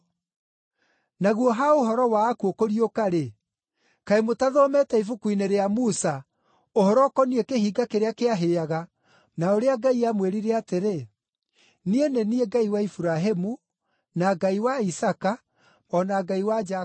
Naguo ha ũhoro wa akuũ kũriũka-rĩ, kaĩ mũtathomete ibuku-inĩ rĩa Musa, ũhoro ũkoniĩ kĩhinga kĩrĩa kĩahĩaga, na ũrĩa Ngai aamwĩrire atĩrĩ, ‘Niĩ nĩ niĩ Ngai wa Iburahĩmu na Ngai wa Isaaka, o na Ngai wa Jakubu?’